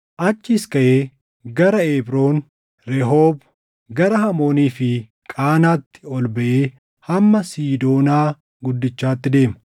Achiis kaʼee gara Eebroon, Rehoob, gara Hamoonii fi Qaanaatti ol baʼee hamma Siidoonaa Guddichaatti deema.